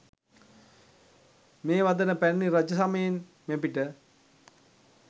මේ වදන පැරැණි රජ සමයෙන් මෙපිට